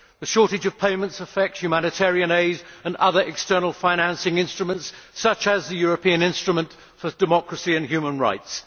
The shortage of payments affects humanitarian aid and other external financing instruments such as the European Instrument for Democracy and Human Rights.